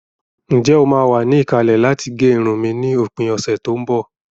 Ǹjẹ́ o máa wà ní ìkàlẹ̀ láti gẹ irun mi ni òpin ọ̀sẹ̀ tó ń bọ̀?